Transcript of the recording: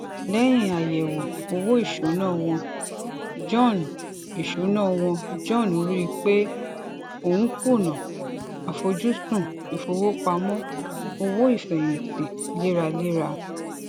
léyìn àyèwò owó ìṣúnà wọn john ìṣúnà wọn john rí i pé òun n kùnà àfojúsùn ìfowópamọ owó ìfẹyìntì léraléra